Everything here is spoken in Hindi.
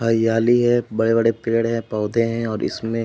हरियाली है। बड़े-बड़े पेड़ हैं पौधे हैं और इसमें --